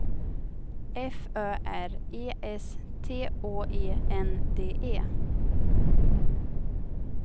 F Ö R E S T Å E N D E